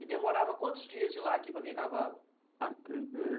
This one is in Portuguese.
E demorava quantos dias de ir lá a aqui para vir a cavalo? Aqui